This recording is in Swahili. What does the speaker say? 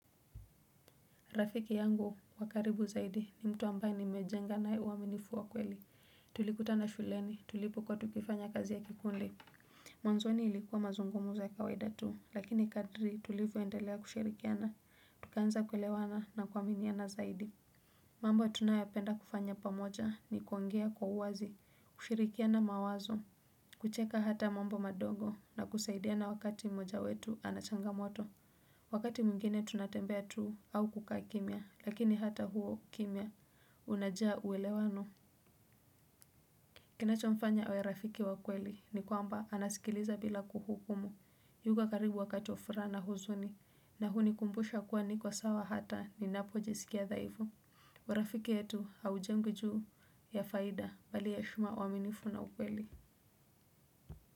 Rafiki yangu wa karibu zaidi ni mtu ambaye nimejenga naye uaminifu wa kweli. Tulikutana shuleni tulipokuwa tukifanya kazi ya kikundi. Mwanzoni ilikuwa mazungumzo ya kawaida tu. Lakini kadri tulivyoendelea kushirikiana. Tukaanza kuelewana na kuaminiana zaidi. Mambo tunayopenda kufanya pamoja ni kuongea kwa uwazi, kushirikiana mawazo, kucheka hata mambo madogo na kusaidiana wakati mmoja wetu ana changamoto. Wakati mwingine tunatembea tu au kukaa kimya, lakini hata huo ukimya, unajaa uelewano. Kinachomfanya awe rafiki wa kweli ni kwamba anasikiliza bila kuhukumu. Yuko karibu wakati wa furaha na huzuni na kunikumbusha kuwa niko sawa hata ninapo jisikia dhaifu. Urafiki yetu haujengwi juu ya faida bali heshima uaminifu na ukweli.